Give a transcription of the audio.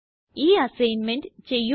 ഈ അസൈന്മെന്റ് ചെയ്യുക